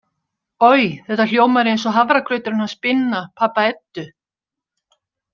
Oj, þetta hljómar eins og hafragrauturinn hans Binna, pabba Eddu.